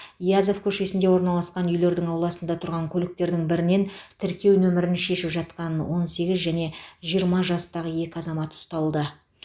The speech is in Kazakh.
язев көшесінде орналасқан үйлердің ауласында тұрған көліктердің бірінен тіркеу нөмірін шешіп жатқан он сегіз және жиырма жастағы екі азамат ұсталды